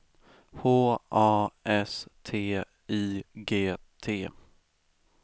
H A S T I G T